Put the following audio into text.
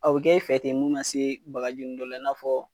u be kɛ e fɛ ten mun na see bagaji nn dɔ la i n'a fɔɔ